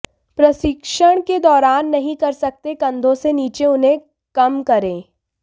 प्रशिक्षण के दौरान नहीं कर सकते कंधों से नीचे उन्हें कम करें